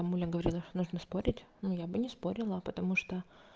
мамуля говорила что нужно спорить но я бы не спорила потому что